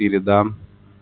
передам